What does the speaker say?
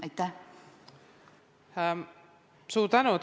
Suur tänu!